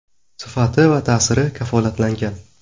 Sifati va ta’siri kafolatlangan.